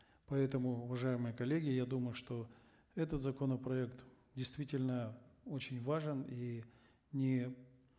поэтому уважаемые коллеги я думаю что этот законопроект действительно очень важен и не